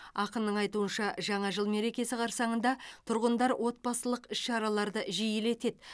ақынның айтуынша жаңа жыл мерекесі қарсаңында тұрғындар отбасылық іс шараларды жиілетеді